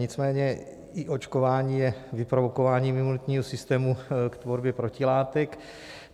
Nicméně i očkování je vyprovokováním imunitního systému k tvorbě protilátek.